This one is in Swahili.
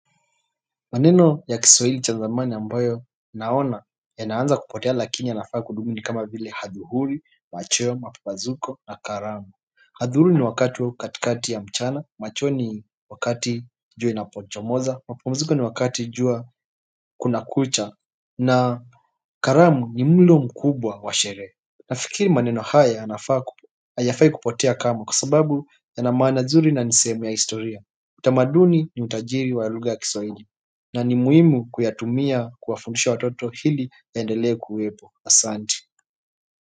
Maneno ya kiswahili cha zamani ambayo naona ya naanza kupotea lakini ya nafaa kudumu ni kama vile hadhuhuli, macheo, mapambazuko na karamu. Hadhuhuli ni wakati au katikati ya mchana, macheo ni wakati jua inapo chomoza, mapambazuko ni wakati jua kuna kucha na karamu ni mlo mkubwa wa sherehe nafikiri maneno haya ya nafaa hayafai kupotea kamwe kwa sababu ya na maana nzuri na ni sehemu ya historia utamaduni ni utajiri wa lugha ya kiswahili na ni muimu kuyatumia kuwafundisha watoto hili yaendele kuwepo Asanti.